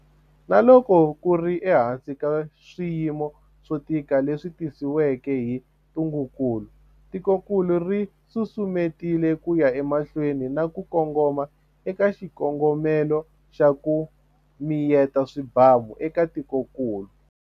Na loko ku ri ehansi ka swiyimo swo tika leswi tisiweke hi ntungukulu, tikokulu ri susumetile ku ya emahlweni na ku kongoma eka xikongomelo xa 'ku mi yeta swibamu' eka tikokulu.